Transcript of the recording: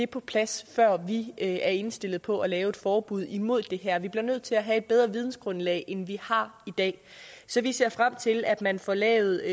på plads før vi er indstillet på at lave et forbud mod det her vi bliver nødt til at have et bedre vidensgrundlag end vi har i dag så vi ser frem til at man får lavet